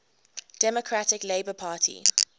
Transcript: democratic labour party